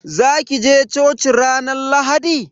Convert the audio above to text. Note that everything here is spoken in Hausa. Za ki je coci ranar Lahadi?